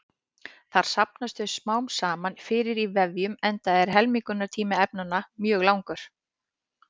Þar safnast þau smám saman fyrir í vefjum enda er helmingunartími efnanna mjög langur.